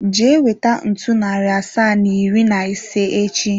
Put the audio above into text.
Jee weta ntu, nari asaa na iri na ise echi!